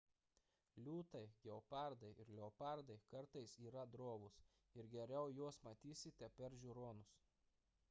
liūtai gepardai ir leopardai kartais yra drovūs ir geriau juos matysite per žiūronus